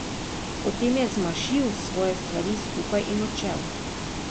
Potem je zmašil svoje stvari skupaj in odšel.